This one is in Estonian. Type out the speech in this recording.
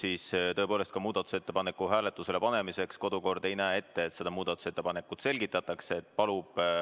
Aga tõepoolest, muudatusettepaneku hääletusele panemiseks ei näe kodukord ette, et seda muudatusettepanekut selgitatakse.